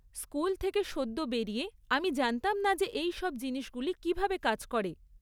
School থেকে সদ্য বেরিয়ে আমি জানতাম না যে এই সব জিনিসগুলি কীভাবে কাজ করে।